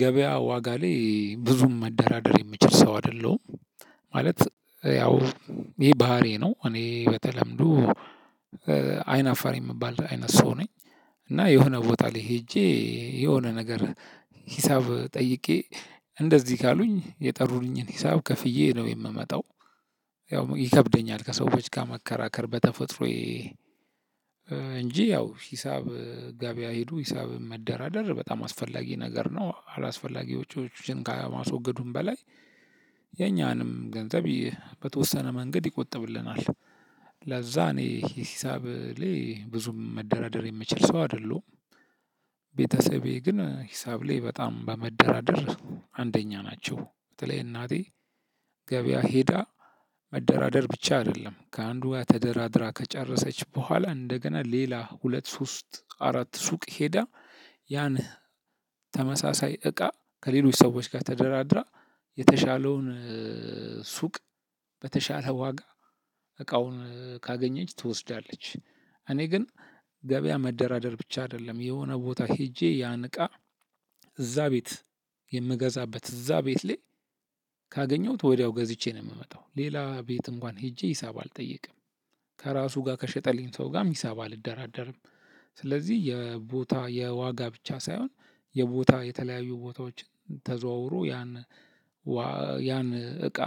ገበያ ዋጋ ላይ ብዙም መደራደር የሚችል ሰው አይደለሁም። ማለት ያው ይሄ ባህሪዬ ነው እኔ በተለምዶ አይና አፋር የምባል አይነት ሰው ነኝ። እና የሆነ ቦታ ላይ ሄጄ የሆነ ነገር ሂሳብ ጠይቄ እንደዚህ ካሉኝ የጠሩኝን ሂሳብ ከፍዬ ነው የምመጣው። ያው ይከብደኛል ከሰዎች ጋር መከራከር በተፈጥሮዬ። እንጂ ያው ሂሳብ ገቢያ ሄዱ ሂሳብ መደራደር በጣም አስፈላጊ ነገር ነው። አላስፈላጊ ወጪዎችን ከማስወገዱም በላይ የኛንም ገንዘብ በተወሰነ መንገድ ይቆጥብልናል። ለዛ እኔ ሂሳብ ላይ ብዙም መደራደር የምችል ሰው አይደለሁም። ቤተሰቤ ግን ሂሳብ ላይ በጣም በመደራደር አንደኛ ናቸው በተለይ እናቴ። ገበያ ሄዳ መደራደር ብቻ አይደለም ከአንዱ ጋራ ተደራድራ ከጨረሰች በኋላ እንደገና ሌላ ሁለት ሶስት አራት ሱቅ ሄዳ ያን ተመሳሳይ እቃ ከሌሎች ሰዎች ጋር ተደራድራ የተሻለውን ሱቅ በተሻለ ዋጋ እቃውን ካገኘች ትወስዳለች። እኔ ግን ገበያ መደራደር ብቻ አይደለም የሆነ ቦታ ሄጄ ያን እቃ። እዛ ቤት የምገዛበት እዛ ቤት ላይ ካገኘሁት ወዲያው ገዝቼ ነው የምመጣው ሌላ ቤት እንኳን ሄጄ ሂሳብ አልጠይቅም። ከራሱ ጋር ከሸጠልኝ ሰው ጋር ሂሳብ አልደራደርም። ስለዚህ የቦታ የዋጋ ብቻ ሳይሆን የቦታ የተለያዩ ቦታዎች ተዘዋውሮ ያን ያን እቃ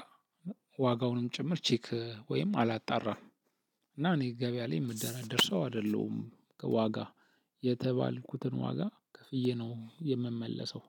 ዋጋውንም ጭምር ቼክ ወይም አላጣራም። እና እኔ ገበያ ላይ የምደራደር ሰው አይደለሁም። ከዋጋ የተባልኩትን ዋጋ ከፍያ ነው የምመለሰው።